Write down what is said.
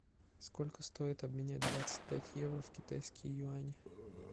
сколько стоит обменять двадцать пять евро в китайские юани